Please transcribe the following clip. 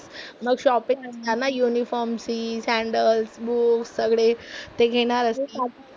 मग शॉपिंग आणणार ना युनिफॉर्म सॅन्डल बूट सगळे ते घेणारच.